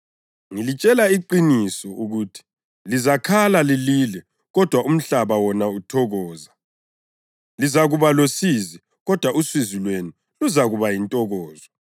Ngilitshela iqiniso ukuthi lizakhala lilile kodwa umhlaba wona uthokoza. Lizakuba losizi, kodwa usizi lwenu luzakuba yintokozo.